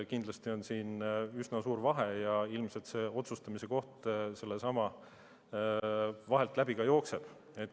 Kindlasti on neil üsna suur vahe ja ilmselt see otsustamise koht sealt vahelt läbi jookseb.